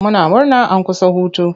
Muna murna an kusa hutu.